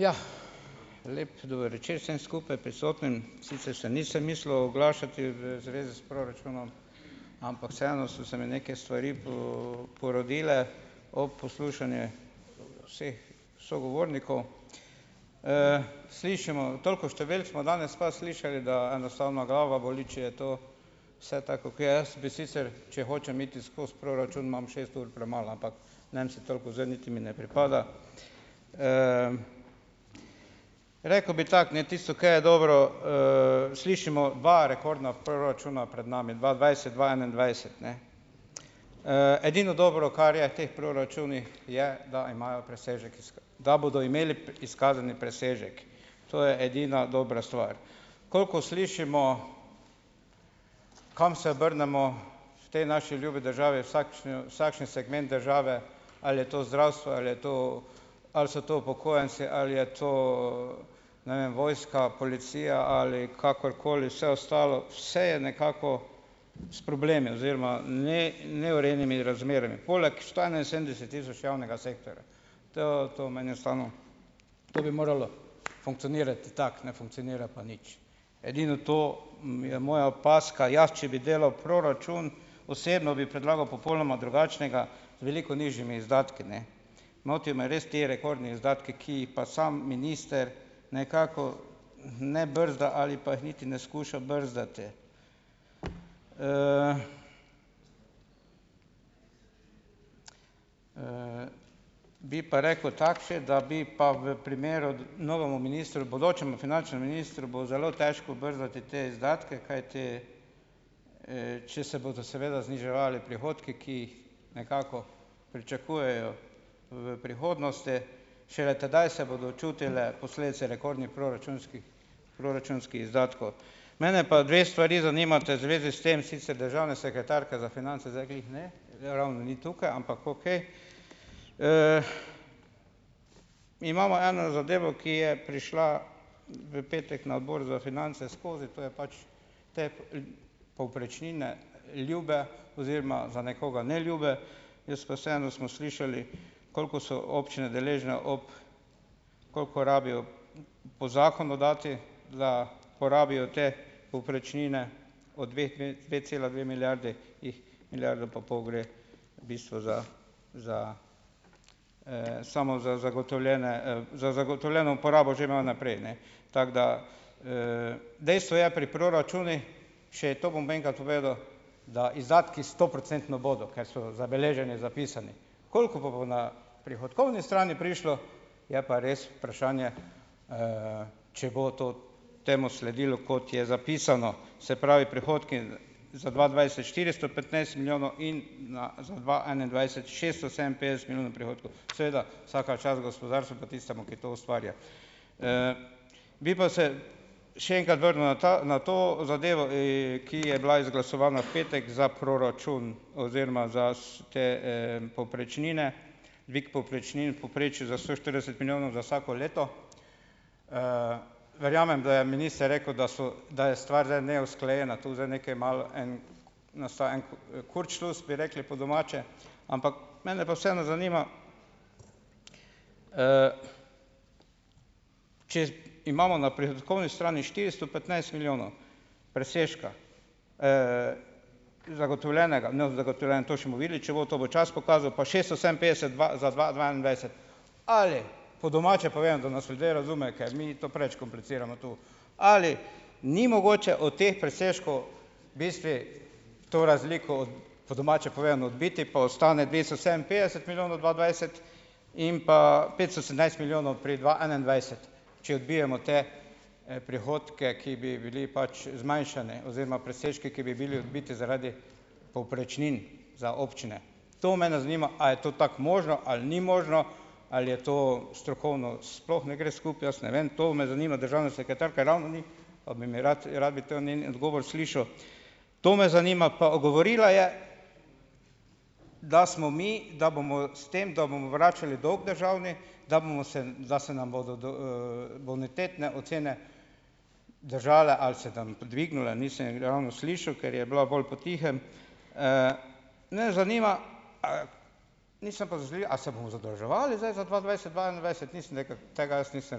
Jah, lep dober večer vsem skupaj prisotnim. Sicer se nisem mislil oglašati v zvezi s proračunom, ampak vseeno so se mi neke stvari porodile ob poslušanju vseh sogovornikov. slišimo, toliko številk smo danes pa slišali, da enostavno glava boli, če je to vse tako kakor jaz, bi sicer, če hočem iti skozi proračun, imam šest ur premalo, ampak ne bom si toliko vzel niti mi ne pripada. rekel bi tako, ne, tisto, ka je dobro, slišimo dva rekordna proračuna pred nami, dva dvajset, dva enaindvajset, ne. edino dobro, kar je teh proračunih, je, da imajo presežek iz da bodo imeli izkazani presežek. To je edina dobra stvar. Koliko slišimo, kam se obrnemo, te naši ljubi državi , vsakšen segment države, ali je to zdravstvo ali je to, ali so to upokojenci ali je to ne vem, vojska, policija ali kakorkoli vse ostalo. Vse je nekako s problemi oziroma, neurejenimi razmerami. Poleg sto enainsedemdeset tisoč javnega sektorja. To, to meni je , to bi moralo funkcionirati tako, ne, funkcionirati na nič. Edino to je moja opazka. Jaz, če bi delal proračun osebno, bi predlagal popolnoma drugačnega, z veliko nižjimi izdatki, ne. Motijo me res ti rekordni izdatki, ki jih pa samo minister nekako ne brzda ali pa jih niti ne skuša brzdati. bi pa rekel tako še , da bi pa v primeru novemu ministru, bodočemu finančnemu ministru, bo zelo težko brzdati te izdatke, kajti če se bodo seveda zniževali prihodki, ki jih nekako pričakujejo v prihodnosti. Šele tedaj se bodo čutile posledice rekordnih proračunskih, proračunskih izdatkov. Mene pa dve stvari zanimata v zvezi s tem, sicer državna sekretarka za finance zdaj glih, ne, ravni ni tukaj, ampak okej. imamo eno zadevo, ki je prišla v petek na Odbor za finance skozi, to je pač te povprečnine ljube oziroma za nekoga neljube, jaz pa vseeno smo slišali, koliko so občine deležne ob, koliko rabijo po zakonu dati, da porabijo te povprečnine od pet cela dve milijarde, jih milijardo pa pol gre v bistvu za, za, samo za zagotovljene, za zagotovljeno porabo že malo naprej, ne. Tako da, dejstvo je pri proračunu, še to bom enkrat povedal, da izdatki stoprocentno bodo, ker so zabeleženi, zapisani. Koliko pa bo na prihodkovni strani prišlo, je pa res vprašanje, če bo to temu sledilo, kot je zapisano. Se pravi prihodki, za dva dvajset štiristo petnajst milijonov in na, za dva enaindvajset šeststo sedeminpetdeset milijonov prihodkov. Seveda , vsaka čast gospodarstvu pa tistemu, ki to ustvarja. bi pa se še enkrat vrnil na ta, na to zadevo ki je bila izglasovana v petek za proračun oziroma za te povprečnine, dvig povprečnin v povprečju za sto štirideset milijonov za vsako leto. verjamem, da je minister rekel, da so, da je stvar zdaj neusklajena. Tu zdaj nekaj malo na sto kurcšlus bi rekli po domače, ampak mene pa vseeno zanima, če imamo na prihodkovni strani štiristo petnajst milijonov presežka, in zagotovljenega, ne, zagotovljen, to še bomo videli, če bo to, bo čas pokazal, pa šeststo sedeminpetdeset za dva, za dva dvaindvajset. Ali po domače povedano, da nas ljudje razumejo, ker mi to preveč kompliciramo tu. Ali ni mogoče o teh presežkov bistvu to razliko, po domače povedano, odbiti pa ostane dvesto sedeminpetdeset milijonov dva dvajset in pa petsto sedemnajst milijonov pri dva enaindvajset, če odbijemo te prihodke, ki bi bili pač zmanjšani oziroma presežki, ki bi bili odbiti zaradi povprečnin za občine. To mene zanima, a je to tako možno ali ni možno. Ali je to strokovno sploh ne gre skupaj, jaz ne vem, to me zanima, državna sekretarka, ravno ni, pa bi mi rad, rad bi to njen odgovor slišal. To me zanima, pa govorila je, da smo mi, da bomo s tem, da bomo vračali dolg državni, da bomo se, da se nam bodo bonitetne ocene držale ali se nam dvignile, nisem je ravno slišal, ker je bila bolj potihem. me zanima, a, , a se bomo zadolževali zdaj za dva dvajset-dva enaindvajset? Nisem nekaj, tega jaz nisem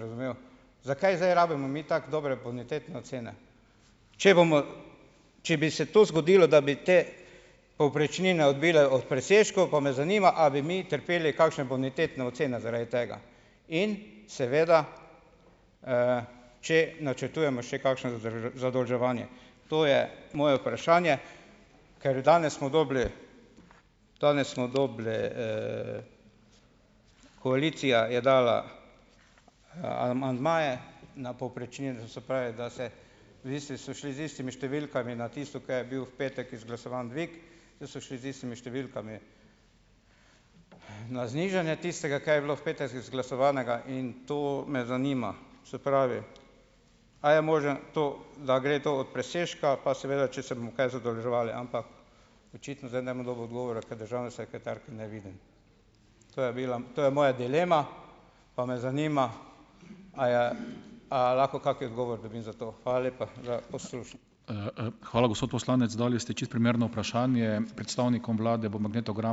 razumel. Zakaj zdaj rabimo mi tako dobre bonitetne ocene? Če bomo, če bi se to zgodilo, da bi te povprečnine odbile od presežkov, pa me zanima, a bi mi trpeli kakšne bonitetne ocene zaradi tega? In seveda, če načrtujemo še kakšno zadolževanje? To je moje vprašanje, ker danes smo dobili, danes smo dobili koalicija je dala amandmaje na povprečnine, to se pravi, da se, v bistvu so šli z istimi številkami na tisto, kaj je bil v petek izglasovan dvig, da so šli z istimi številkami na znižanje tistega, kaj je bilo v petek izglasovanega, in to me zanima. Se pravi, a je možno to, da gre to od presežka, pa seveda, če se bomo kaj zadolževali? Ampak očitno zdaj ne bom dobil odgovora, ker državne sekretarke ne vidim. To je bila, to je moja dilema, pa me zanima, a je, a lahko kak odgovor dobim za to. Hvala lepa za poslušanje. hvala, gospod poslanec. Dali ste čisto primerno vprašanje. Predstavnikom vlade bo magnetogram ...